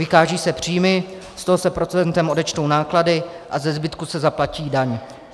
Vykážou se příjmy, z toho se procentem odečtou náklady a ze zbytku se zaplatí daň.